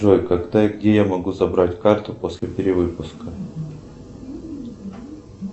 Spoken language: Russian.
джой когда и где я могу забрать карту после перевыпуска